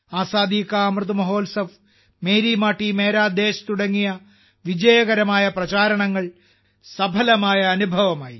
ആസാദി കാ അമൃത് മഹോത്സവ് മേരി മാട്ടി മേരാ ദേശ് തുടങ്ങിയ വിജയകരമായ പ്രചാരണങ്ങൾ സഫലമായ അനുഭവമായി